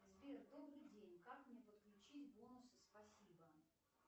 сбер добрый день как мне подключить бонусы спасибо